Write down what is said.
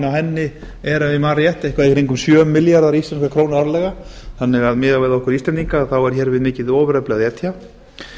henni er ef ég man rétt eitthvað í kringum sjö milljarðar íslenskar krónur árlega þannig að miðað við okkur íslendinga er hér við mikið ofurefli að etja